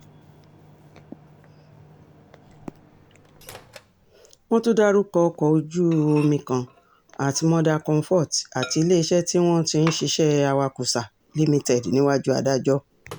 wọ́n tún dárúkọ ọkọ̀ ojú-omi kan at mother comfort àti iléeṣẹ́ tí wọ́n ti ń ṣiṣẹ́ awakósa limited níwájú adájọ́